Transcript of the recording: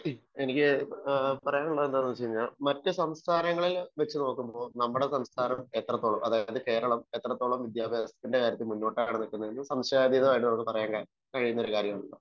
എനിക്ക് പറയാൻ ഉള്ളത് എന്താണെന്നു വെച്ച് കഴിഞ്ഞാൽ മറ്റു സംസ്ഥാനങ്ങളെ വെച്ച് നോക്കുമ്പോൾ നമ്മുടെ സംസ്ഥാനം എത്രത്തോളം വിദ്യാഭാസ രംഗത്തു മുന്നോട്ടാണ് എന്ന് സംശയാതീതമായി നമുക്ക് പറയാൻ കഴിയുന്ന ഒരു കാര്യം ആണ്.